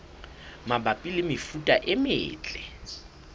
mabapi le mefuta e metle